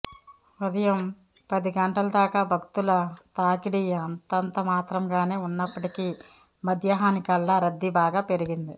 ఉదయం పది గంటల దాకా భక్తుల తాకిడి అంతంతమాత్రంగానే ఉన్నప్పటికీ మధ్యాహ్నానికల్లా రద్దీ బాగా పెరిగింది